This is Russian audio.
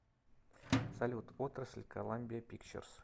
салют отрасль коламбия пикчерс